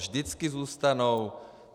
Vždycky zůstanou.